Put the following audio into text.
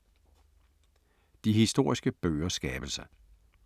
De historiske bøgers skabelse